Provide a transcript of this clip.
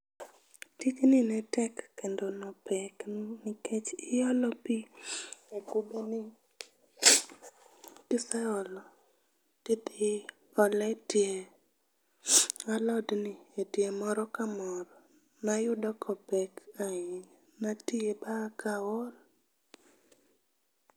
Tijni ne tek kendo ne opek nikech iolo pi e kubeni, kiseolo to idhi ole etie alodni, etie moro ka moro. Ne ayudo ka opek ahinya. Ne atiye ma aa kaol.